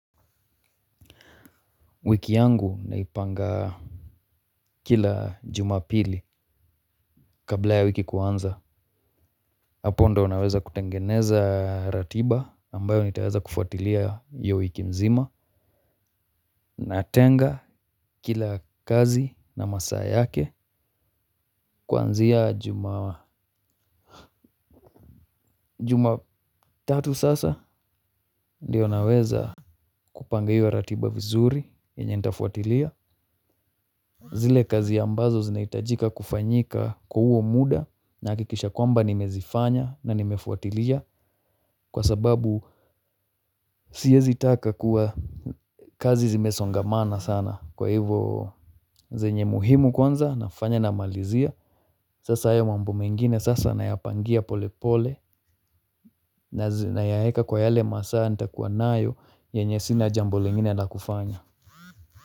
Wiki yangu naipanga kila jumapili kabla ya wiki kuanza hapo ndiyo naweza kutengeneza ratiba ambayo nitaweza kufuatilia hiyo wiki mzima na tenga kila kazi na masaa yake kuanzia jumatatu sasa ndiyo naweza kupanga hiyo ratiba vizuri yenye nitafuatilia zile kazi ambazo zinahitajika kufanyika kwa huo muda nahakikisha kwamba nimezifanya na nimefuatilia kwa sababu siwezi taka kuwa kazi zimesongamana sana kwa hivyo zenye muhimu kwanza nafanya namalizia sasa ya mambo mengine sasa nayapangia pole pole nayaweka kwa yale masaa nitakuwa nayo yenye sina jambo lengine na kufanya.